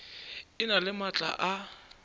e na le maatla a